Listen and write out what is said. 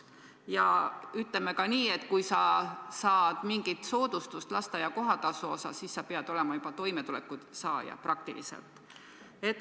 Ja ma ütlen ka seda, et kui sa saad mingit soodustust lasteaia kohatasu maksmisel, siis sa pead olema ka toimetulekutoetuse saaja.